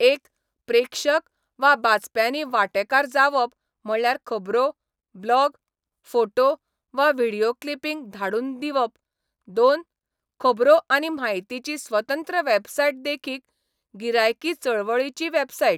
एक, प्रेक्षक वा बाचप्यांनी वांटेकार जावप म्हणल्यार खबरो, ब्लॉग, फोटो वा व्हिडियो क्लिपिंग धाडून दिवप दोन, खबरो आनी म्हायतीची स्वतंत्र वॅबसायट देखीक, गिरायकी चळवळीची वॅबसायट.